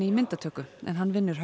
í myndatöku en hann vinnur